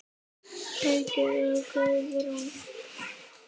Haukur og Guðrún.